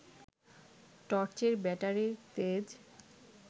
টর্চের ব্যাটারির তেজ